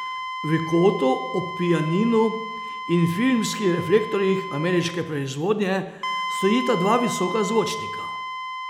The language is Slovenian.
V kotu ob pianinu in filmskih reflektorjih ameriške proizvodnje stojita dva visoka zvočnika.